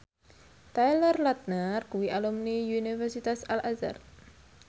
Taylor Lautner kuwi alumni Universitas Al Azhar